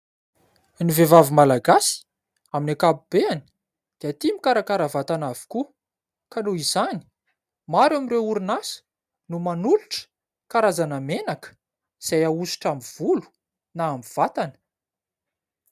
Ny vehivavy Malagasy amin'ny ankapobeny dia tia mikarakara vatana avokoa ka noho izany maro amin'ireo orinasa no manolotra karazana menaka izay ahosotra amin'ny volo na amin'ny vatana.